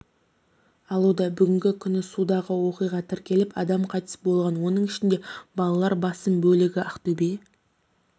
алуда бүгінгі күні судағы оқиға тіркеліп адам қайтыс болған оның ішінде балалар басым бөлігі ақтөбе